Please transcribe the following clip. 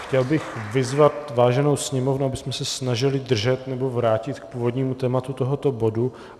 Chtěl bych vyzvat vážnou sněmovnu, abychom se snažili držet nebo vrátit k původnímu tématu tohoto bodu.